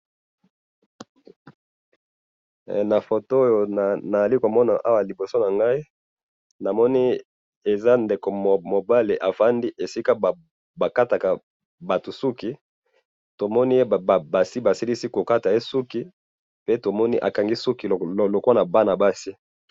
na photo oyo nazali komona awa liboso nangai, namoni eza ndeko mobali avandi esika bakataka batu suki, tomoni ye basilisi kokata ye suki, pe tomoni akangi suki lokolo ya bana basi